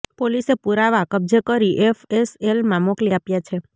પોલીસે પુરાવા કબ્જે કરી એફએસએલમાં મોકલી આપ્યા છે